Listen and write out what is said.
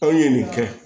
Aw ye nin kɛ